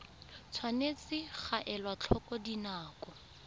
tshwanetse ga elwa tlhoko dinako